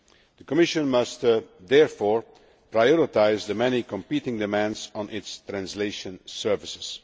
The Commission must therefore prioritise the many competing demands on its translation services.